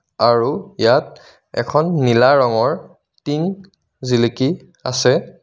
আৰু ইয়াত এখন নীলা ৰঙৰ টিং জিলিকি আছে.